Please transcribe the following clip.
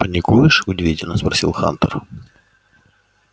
паникуешь удивительно спросил хантер